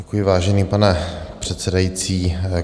Děkuji, vážený pane předsedající.